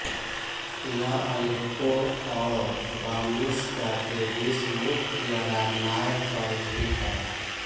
यह अलेप्पो और दमिश्क के बीच मुख्य राजमार्ग पर स्थित है